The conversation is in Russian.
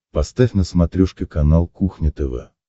поставь на смотрешке канал кухня тв